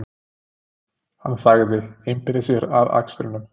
Hann þagði, einbeitti sér að akstrinum.